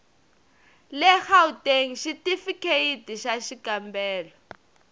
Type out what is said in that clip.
le gauteng xitifikheyiti xa xikambelo